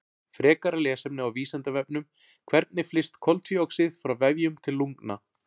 Frekara lesefni á Vísindavefnum: Hvernig flyst koltvíoxíð frá vefjum til lungna?